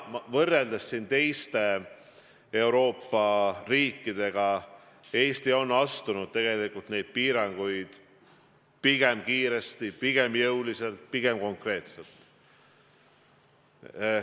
Võrreldes teiste Euroopa riikidega on Eesti teinud tegelikult neid piiranguid pigem kiiresti, pigem jõuliselt, pigem konkreetselt.